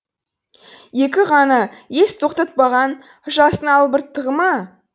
екі ғана ес тоқтатпаған жастың албырттығы ма